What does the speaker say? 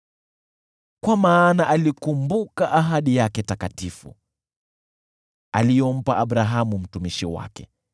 Kwa maana alikumbuka ahadi yake takatifu, aliyompa Abrahamu mtumishi wake.